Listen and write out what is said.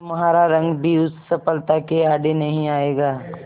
तुम्हारा रंग भी उस सफलता के आड़े नहीं आएगा